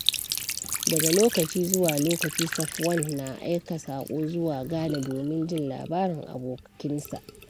Daga lokaci zuwa lokaci, Safwan na aika saƙo zuwa Ghana domin jin labarin abokinsa.